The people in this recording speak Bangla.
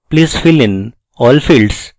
please fill in all fields